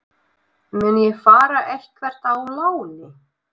Mun ég fara eitthvert á láni?